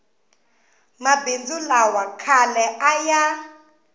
mabindzu lawa khale a ya